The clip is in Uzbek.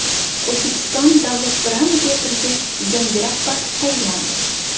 O‘zbekiston davlat drama teatriga yangi rahbar tayinlandi.